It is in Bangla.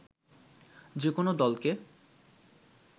যেকোনো দলকে